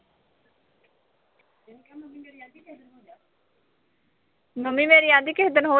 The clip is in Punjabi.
ਮੰਮੀ ਮੇਰੀ ਆਂਦੀ ਕਿਸ ਦਿਨ ਹੋਜਾ